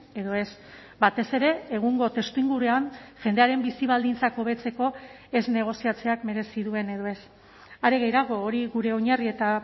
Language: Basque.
edo ez batez ere egungo testuinguruan jendearen bizi baldintzak hobetzeko ez negoziatzeak merezi duen edo ez are gehiago hori gure oinarri eta